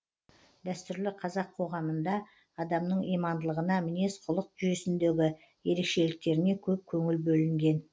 дәстүрлі қазақ қоғамында адамның имандылығына мінез құлық жүйесіндегі ерекшеліктеріне көп көңіл бөлінген